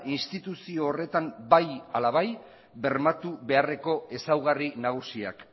instituzio horretan bai ala bai bermatu beharreko ezaugarri nagusiak